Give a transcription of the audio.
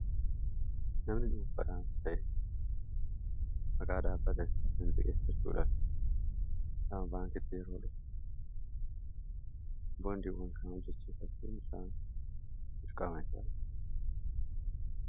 namni dhuunfadhaanis ta'ee magaa dhaabbata issaat in ziqeessachuudhafi saanba'an kitti eroolhe boondiiwwan kanaa jechii fassiin isaa mucqameessaa